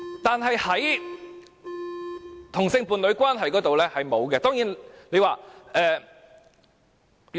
但是，在同性伴侶關係方面是不存在的。